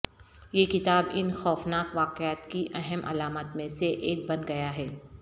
یہ کتاب ان خوفناک واقعات کی اہم علامات میں سے ایک بن گیا ہے